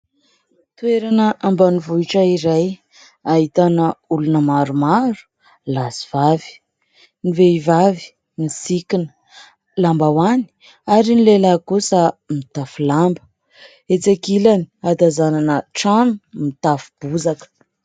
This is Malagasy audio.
Toerana ambanivohitra iray ; ahitana olona maromaro lahy sy vavy. Ny vehivavy misikana lambahoany, ary ny lehilahy kosa mitafy lamba. Etsy ankilany hatazanana trano mitafo bozaka.